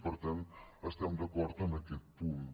i per tant estem d’acord amb aquest punt